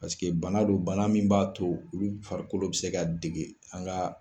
Paseke bana don bana min b'a to olu farikolo bi se ka dege an ga